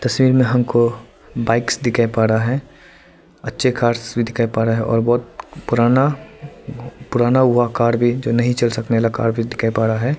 तस्वीर में हमको बाइक्स दिखाई पड़ रहा है अच्छे कार्स भी दिखाई पड़ रहे हैं और बहोत पुराना पुराना हुआ कार भी जो नहीं चल सकने वाला कार भी दिखाई पड़ रहा है।